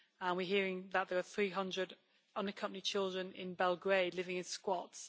We are hearing that there are 300 unaccompanied children in Belgrade living in squats.